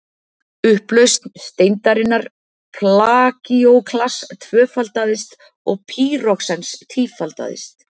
upplausn steindarinnar plagíóklass tvöfaldaðist og pýroxens tífaldaðist